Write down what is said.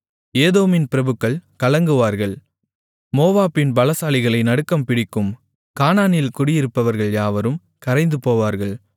ஏதோமின் பிரபுக்கள் கலங்குவார்கள் மோவாபின் பலசாலிகளை நடுக்கம் பிடிக்கும் கானானில் குடியிருப்பவர்கள் யாவரும் கரைந்துபோவார்கள்